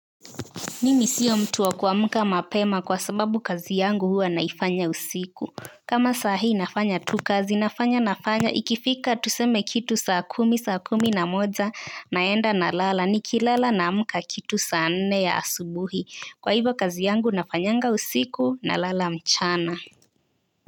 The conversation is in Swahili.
Mimi siyo mtu wa kuamka mapema kwa sababu kazi yangu huwa naifanya usiku. Kama sahi nafanya tu kazi nafanya nafanya ikifika tuseme kitu saa kumi saa kumi na moja naenda nalala ni kilala naamka kitu saa nne ya asubuhi. Kwa hivyo kazi yangu nafanyanga usiku nalala mchana.